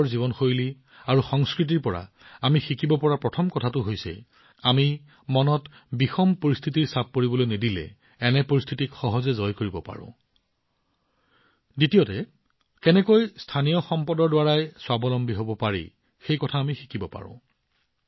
পৰ্বতৰ জীৱনশৈলী আৰু সংস্কৃতিৰ পৰা আমি প্ৰথম শিক্ষা এইটোৱেই লাভ কৰোঁ যে যদি আমি পৰিস্থিতিৰ চাপত নাহো আমি সেইবোৰক সহজে জয় কৰিব পাৰোঁ আৰু দ্বিতীয়তে আমি কেনেকৈ স্থানীয় সম্পদৰ দ্বাৰা স্বাৱলম্বী হব পাৰোঁ